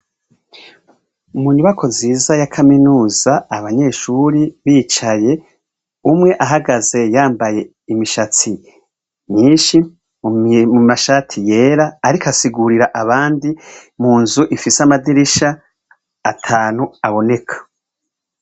Munyubakwa nziza ya kaminuza abanyeshuri bicaye, umw' ahagaze yambay' imishatsi myinshi na shati yera, arik' asigurir' abandi munz' ifis' amadirish' atan' aboneka.